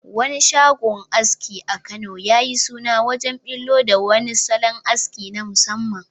Wani shagon aski a Kano ya yi suna wajen bullo da wani salon aski na musamman